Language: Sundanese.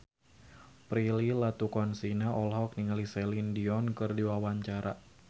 Prilly Latuconsina olohok ningali Celine Dion keur diwawancara